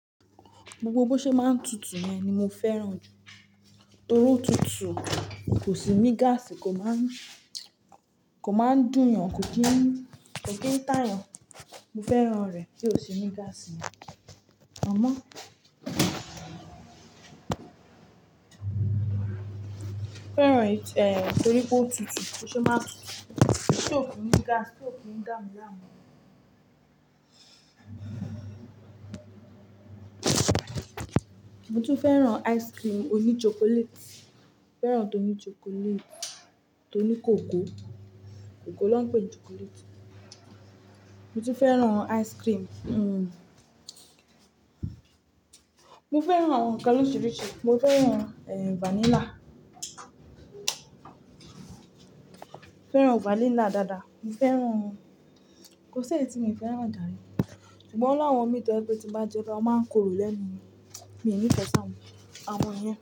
Gbogbo bo ṣé má ń tutù yẹn ni mo fẹ́ràn jù, torí ó tutù kò sì ní gáàsì, kò má ń dùn yàn, kò kí n tá yàn. Mo fẹ́ràn rẹ̀ bí ó sì ní gáàsì, àmọ́? Fẹ́ràn rẹ̀ torí pé ó tutù, bó ṣe máa ń tutù, tí ó fi ní gáàsì, tí ó fi ní dàmílàamú. Mo tún fẹ́ràn ice cream oní chocolate. Mo fẹ́ràn tó ní chocolate, tó ní kòkó. Kòkó ló ń pè chocolate. Mo tún fẹ́ràn ice cream. Mo fẹ́ràn àwọn nkan lóríṣìíríṣìí. Mo fẹ́ràn vanilla. Mo fẹ́ràn vanilla dáadáa. Mo fẹ́ràn, kò sì èyí tí mi ò fẹ́ràn jàre, ṣùgbọ́n ó ní àwọn ìmí to jẹ pé tì ń bá jẹ́ bayi ó má ń korò lẹ́nu mí ní mi nífẹ̀ẹ́ si àwọn, àwọn I yẹn.